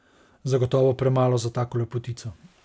Zagotovo premalo za tako lepotico.